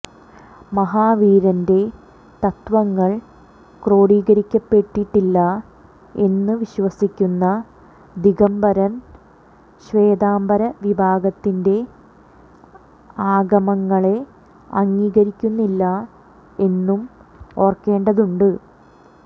മഹാവീരന്റെ തത്ത്വങ്ങൾ ക്രോഡീകരിക്കപ്പെട്ടിട്ടില്ല എന്നു വിശ്വസിക്കുന്ന ദിഗംബരർ ശ്വേതാംബരവിഭാഗത്തിന്റെ ആഗമങ്ങളെ അംഗീകരിക്കുന്നില്ല എന്നും ഓർക്കേണ്ടതുണ്ട്